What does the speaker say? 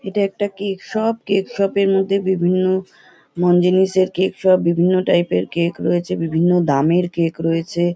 এটা একটা cake shop cake shop এর মধ্যে বিভিন্ন মনজিনিসের কেক শপ । বিভিন্ন টাইপ - এর কেক রয়েছে। বিভিন্ন দামের কেক রয়েছে ।